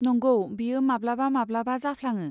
नंगौ, बेयो माब्लाबा माब्लाबा जाफ्लाङो।